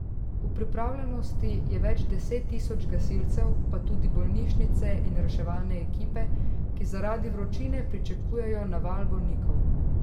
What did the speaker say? V pripravljenosti je več deset tisoč gasilcev, pa tudi bolnišnice in reševalne ekipe, ki zaradi vročine pričakujejo naval bolnikov.